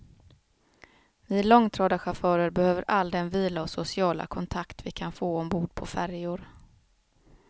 Vi långtradarchufförer behöver all den vila och sociala kontakt vi kan få ombord på färjor.